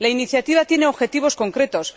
La iniciativa tiene objetivos concretos.